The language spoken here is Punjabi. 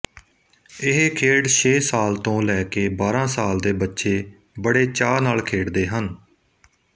ਇਹ ਖੇਡ ਛੇ ਸਾਲ ਤੋਂ ਲੈਕੇ ਬਾਰਾਂ ਸਾਲ ਦੇ ਬੱਚੇ ਬਖੇ ਚਾਅ ਨਾਲ ਖੇਡਦੇ ਹਨ